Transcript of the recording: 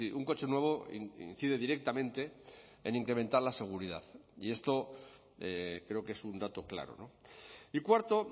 un coche nuevo incide directamente en incrementar la seguridad y esto creo que es un dato claro y cuarto